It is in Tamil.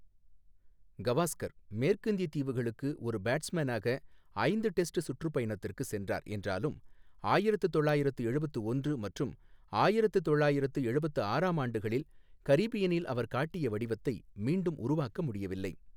கவாஸ்கர் மேற்கிந்தியத் தீவுகளுக்கு ஒரு பேட்ஸ்மேனாக ஐந்து டெஸ்ட் சுற்றுப்பயணத்திற்கு சென்றார் என்றாலும் ஆயிரத்து தொள்ளாயிரத்து எழுபத்து ஒன்று மற்றும் ஆயிரத்து தொள்ளாயிரத்து எழுபத்து ஆறாம் ஆண்டுகளில் கரீபியனில் அவர் காட்டிய வடிவத்தை மீண்டும் உருவாக்க முடியவில்லை.